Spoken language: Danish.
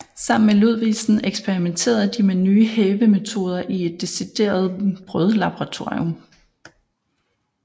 Sammen med Ludvigsen eksperimenterede de med nye hævemetoder i et decideret brødlaboratorium